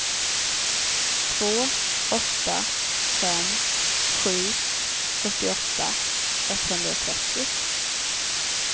två åtta fem sju fyrtioåtta etthundratrettio